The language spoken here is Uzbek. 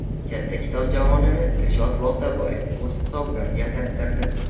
Katta kitob javonini Dilshod Boltaboyev o‘z hisobidan yasattirdi.